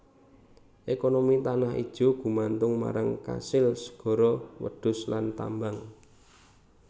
Ekonomi Tanah Ijo gumantung marang kasil segara wedhus lan tambang